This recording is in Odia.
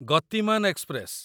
ଗତିମାନ ଏକ୍ସପ୍ରେସ